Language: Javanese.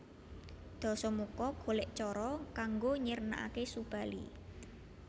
Dasamuka golek cara kanggo nyirnakake Subali